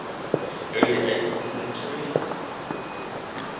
early eighteenth century